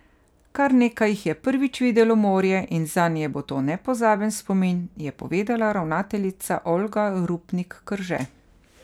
Kar nekaj jih je prvič videlo morje in zanje bo to nepozaben spomin, je povedala ravnateljica Olga Rupnik Krže.